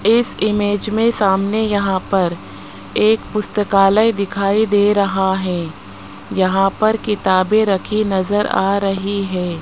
इस इमेज में सामने यहां पर एक पुस्तकालय दिखाई दे रहा है यहां पर किताबें रखी नजर आ रही हैं।